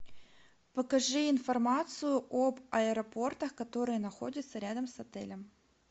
покажи информацию об аэропортах которые находятся рядом с отелем